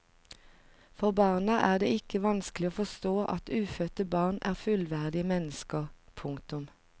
For barna er det ikke vanskelig å forstå at ufødte barn er fullverdige mennesker. punktum